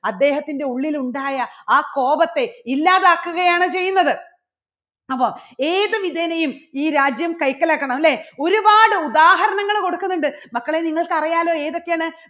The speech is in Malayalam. അദ്ദേഹത്തിൻറെ ഉള്ളിൽ ഉണ്ടായ ആ കോപത്തെ ഇല്ലാതാക്കുകയാണ് ചെയ്യുന്നത്. അപ്പോ ഏത് വിധേനയും ഈ രാജ്യം കൈക്കലാക്കണം അല്ലേ ഒരുപാട് ഉദാഹരണങ്ങൾ കൊടുക്കുന്നുണ്ട് മക്കളെ നിങ്ങൾക്ക് അറിയാലോ ഏതൊക്കെയാണ്?